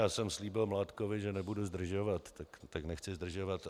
Já jsem slíbil Mládkovi, že nebudu zdržovat, tak nechci zdržovat.